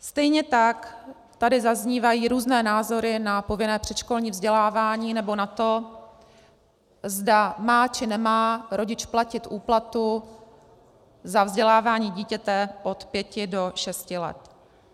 Stejně tak tady zaznívají různé názory na povinné předškolní vzdělávání nebo na to, zda má či nemá rodič platit úplatu za vzdělávání dítěte od pěti do šesti let.